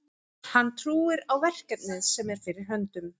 Hann trúir á verkefnið sem er fyrir höndum.